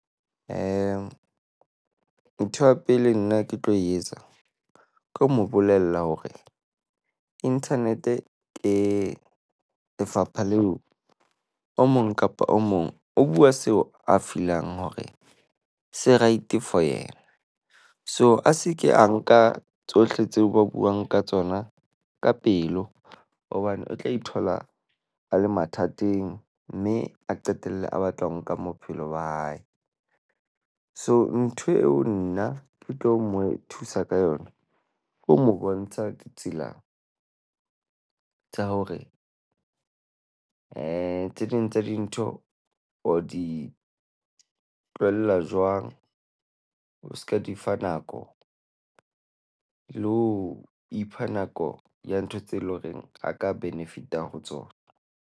Ntho ya pele nna ke tlo e etsa ke ho mo bolella hore internet-e ke lefapha leo o mong kapa o mong o bua seo a feel-ang hore se right for yena. So, a se ke a nka tsohle tseo ba buang ka tsona ka pelo hobane o tla ithola a le mathateng. Mme a qetelle a batla ho nka wa hae. So, ntho eo nna ke tlo mo thusa ka yona, ke ho mo bontsha ditsela tsa hore tse ding tsa dintho o di tlohella jwang. O se ka di fa nako. Le ho ipha nako ya ntho tse le ho reng a ka benefit-a ho tsona.